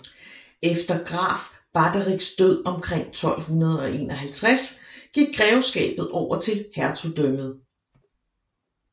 Efter Graf Baderichs død omkring 1251 gik greveskabet over til hertugdømmet